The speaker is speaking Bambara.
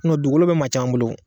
dugukolo bɛ maa caman bolo